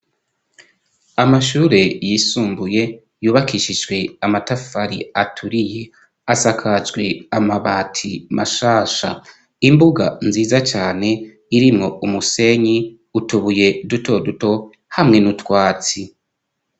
Amashure yisumbuye, yubakishijwe amatafari aturiye ,asakaswe amabati mashasha ,imbuga nziza cane irimwo umusenyi ,utubuye duto duto hamwe n'utwatsi.